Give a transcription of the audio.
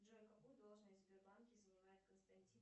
джой какую должность в сбербанке занимает константин